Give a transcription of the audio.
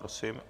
Prosím.